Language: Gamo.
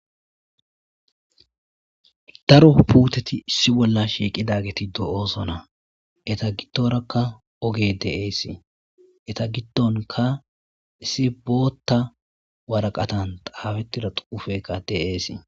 Daro puteti issi bolla shiqidageyi de'osona eta gidora ogetiya de'osona eta gidonka issi boothan woraqatan xafetida xuufeyka de'es